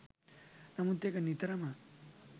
නමුත් එක නිතරම